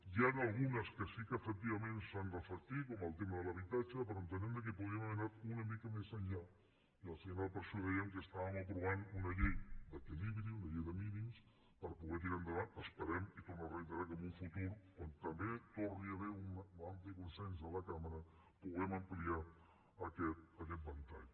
n’hi han algunes que sí que efectivament s’han reflectit com el tema de l’habitatge però entenem que podríem haver anat una mica més enllà i al final per això dèiem que estàvem aprovant una llei d’equilibri una llei de mínims per poder tirar endavant esperem i torno a reiterar que en un futur quan també hi torni a haver un ampli consens a la cambra puguem ampliar aquest ventall